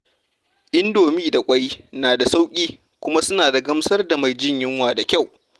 Indomi da ƙwai na da sauƙi, kuma suna gamsar da mai jin yunwa da kyau.